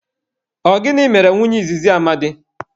Ọ gịnị mere nwunye izizi Amadi?